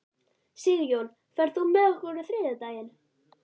Sigjón, ferð þú með okkur á þriðjudaginn?